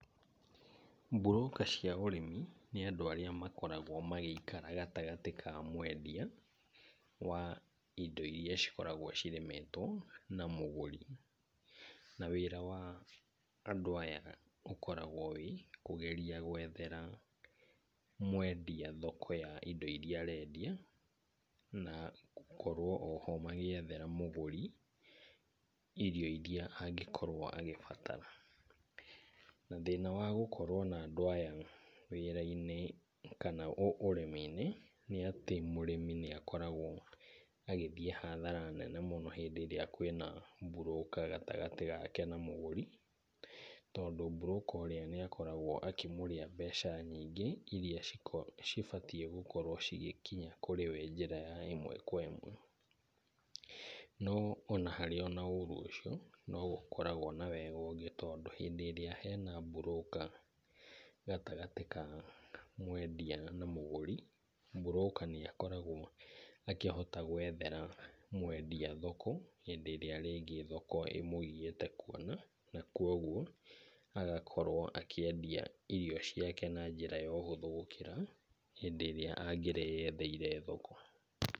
Broker cia ũrĩmi nĩ andũ arĩa makoragwo magĩikara gatagatĩ ka mwendia wa indo irĩa cikoragwo cirĩmĩtwo na mũgũri. Na wira wa andũ aya ũkoragwo wĩ kũgeria gwethera mwendia thoko ya indo irĩa arendia na gũkorwo o ho magĩethera mũgũri irio irĩa angĩkorwo agĩbatara. Na thĩna wa gũkorwo na andũ aya wĩra-inĩ kana ũrĩmi-inĩ, nĩ atĩ mũrĩmi nĩ akoragwo agĩthiĩ hathara nene mũno hĩndĩ ĩrĩa kwĩna broker gatagatĩ gake na mũgũri. Tondũ broker ũrĩa nĩ akoragwo akĩmũrĩa mbeca nyingĩ irĩa cibatiĩ gũkorwo cigĩkinya kũrĩ we njĩra ya ĩmwe kwa ĩmwe. No ona harĩ na ũũru ũcio no gũkoragwo na wega ũngĩ tondũ hĩndĩ ĩrĩa hena broker gatagatĩ ka mwendia na mũgũri, broker nĩ akoragwo akĩhota gwethere mwendia thoko hĩndĩ ĩrĩa rĩngĩ thoko ĩmũgiĩte kuona. Na kwoguo agakorwo akĩendia indo ciake na njĩra ya ũhũthũ gũkĩra hĩndĩ ĩria angĩreyetheire thoko.